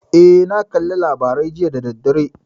Eh, na kalla labarai jiya da daddare.